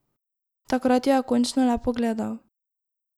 Takrat jo je končno le pogledal.